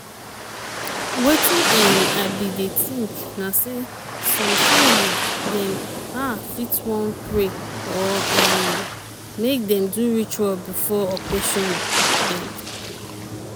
wetin um i bin dey think na say some family dem ah fit wan pray or um make dem do ritual before operation dem.